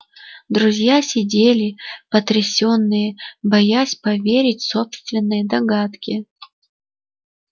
друзья сидели потрясённые боясь поверить собственной догадке